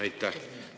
Aitäh!